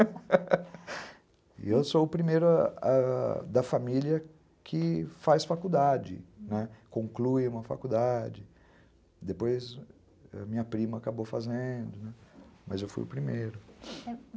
E eu sou o primeiro da família que faz faculdade, conclui uma faculdade, depois minha prima acabou fazendo, mas eu fui o primeiro.